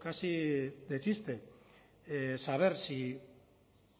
casi de chiste saber si